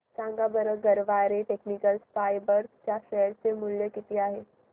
सांगा बरं Garware technical fibres च्या शेअर चे मूल्य किती आहे